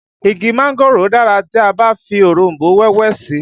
Igi mángòrò dára tí a bá fi òronbó wẹ́wẹ́ sí i